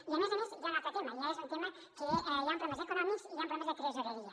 i a més a més hi ha un altre tema i és un tema que hi han problemes econòmics i hi han problemes de tresoreria